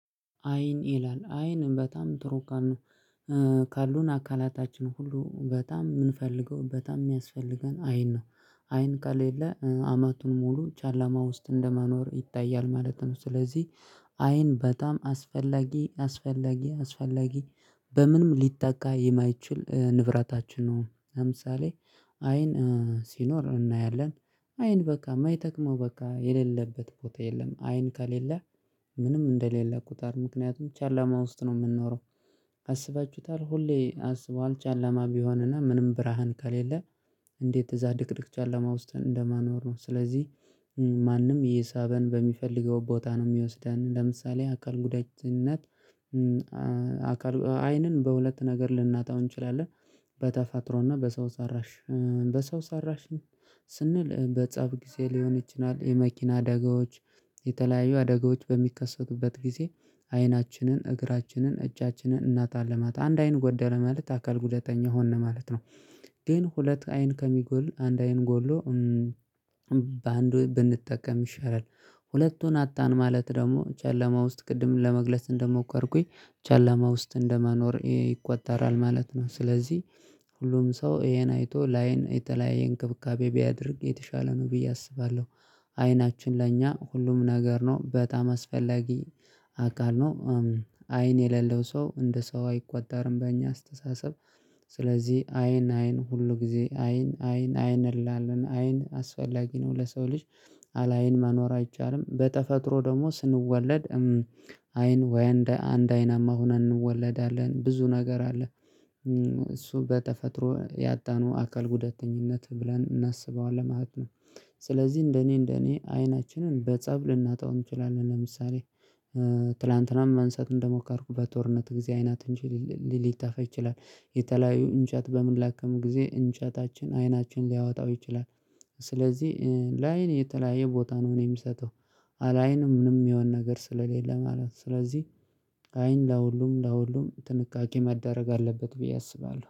አይን ይላል አይን በጣም ጥሩ እቃ ነው። ካሉን አካላታችን ሁሉ በጣም የምንፈልገው በጣም የሚያስፈልገን አይን ነው። አይን ካሌለ አመቱን ሙሉ ጨላማ ውስጥ እንደመኖር ይታያል ማለት ነው። ስለዚህ አይን በጣም አስፈላጊ አስፈላጊ አስፈላጊ በምንም ሊተካ የማይችል ንብረታችን ነው። ለምሳሌ አይን ሲኖር እናያለን። አይን በቃ የማይጠቅመው በቃ የሌለበት ቦታ የለም አይን ከሌለ ምንም እንደሌለ ቁጡሩት ምክንያቱም ጨለማ ውስጥ ነው የምንኖረው። አስባችሁታል ሁሌ አስበኋዋል ጨላማ ቢሆንና ምንም ብርሃን ከሌለ። እንዴት እዛ ድቅድቅ ጨለማ ውስጥ እንደምኖር ነው? ስለዚህ ማንም እየሳበን በሚፈልገው ቦታ ነው የሚወስደን ለምሳሌ አካል ጉዳትነት። አካል አይንን በሁለት ነገር ልናጣው እንችላለን። በተፈጥሮና በሰው ሰራሽ በሰው ሰራሽ ስንል በፀብ ጊዜ ሊሆን ይችላል የመኪና አደጋዎች። የተለያዩ አደጋዎች በሚከሰቱበት ጊዜ አይናችንን እግራችንን እጃችንን እናጣለን አንድ አይን ጎደለ ማለት አካል ጉደተኛ ሆንን ማለት ነው። ግን ሁለት አይን ከሚጎል አንድ አይን ጎሎ በአንዱ ብንጠቀም ይሻላል። ሁለቱን አጣን ማለት ደግሞ ጨለማ ውስጥ ቅድም ለመግለጽ እንደሞከርኩኝ ጨለማ ውስጥ እንደመኖር ይቆጠራል ማለት ነው። ስለዚህ ሁሉም ሰው ይሄን አይቶ ለአይን የተለያየ እንክብካቤ ቢያደርግ የተሻለ ነው ብዬ አስባለሁ። አይናችን ለእኛ ሁሉም ነገር ነው በጣም አስፈላጊ አካል ነው። አይን የሌለው ሰው እንደ ሰው አይቆጠርም በእኛ አስተሳሰብ። ስለዚህ አይን አይን ሁሉ ጊዜ አይን አይን አይን እንላለን አይን አስፈላጊ ነው ለሰው ልጅ። አላይን መኖር አይቻልም በተፈጥሮ ደግሞ ስንወለድ አይን ወይ አንድ አይን ሆንነን እንወለዳለን ብዙ ነገር አለ። እሱ በተፈጥሮ ያጣነው አካል ጉዳተኝነት ብለን እናስበዋለን ማለት ነው። ስለዚህ እንደኔ እንደኔ አይናችንን በጸብ ልናጣው እንችላለን ለምሳሌ። ትላንትናም መንሳት እንደሞከርኩት በጦርነት ጊዜ አይናችን ሊጠፋ ይችላል። የተለያዩ እንጨት በምንለቅም ጊዜ እንጨታችን አይናችን ሊያወጣው ይችላል። ስለዚህ ለአይን የተለያየ ቦታ ነው እኔ የምሰጠው። አለ አይን ምንም የሚሆነ ነገር ስለሌለ ማለት ነው። ስለዚህ አይን ለሁሉም ለሁሉም ጥንቃቄ መደረግ አለበት ብዬ አስባለሁ